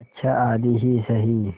अच्छा आधी ही सही